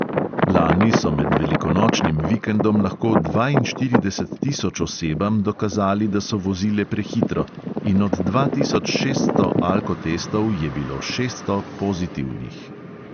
Lani so med velikonočnim vikendom lahko dvainštirideset tisoč osebam dokazali, da so vozile prehitro, in od dva tisoč šeststo alkotestov je bilo šeststo pozitivnih.